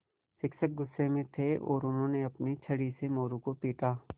शिक्षक गुस्से में थे और उन्होंने अपनी छड़ी से मोरू को पीटा